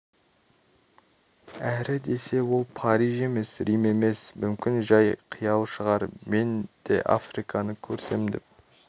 әрі десе ол париж емес рим емес мүмкін жәй қиял шығар мен де африканы көрсем деп